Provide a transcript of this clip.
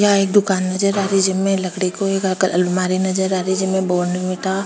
यहाँ एक दुकान नजर आ रही जेमे लकड़ी को एक अलमारी नजर आ रही जेमे बॉर्नवीटा --